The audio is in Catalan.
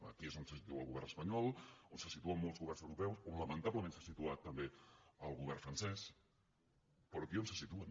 aquí és on se situa el govern espanyol on se situen molts governs europeus on lamentablement s’ha situat també el govern francès però aquí és on se situen